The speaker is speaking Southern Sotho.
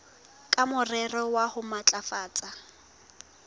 ka morero wa ho matlafatsa